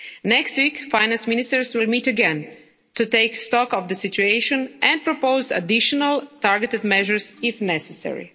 crisis. Next week, finance ministers will meet again to take stock of the situation and propose additional targeted measures if necessary.